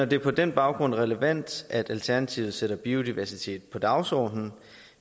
det på den baggrund relevant at alternativet sætter biodiversitet på dagsordenen